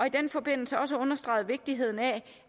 i den forbindelse også understreget vigtigheden af